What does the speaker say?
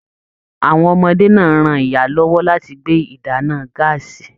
Àwọn ọmọdé náà ran ìyá lọwọ láti gbé ìdáná gàásí.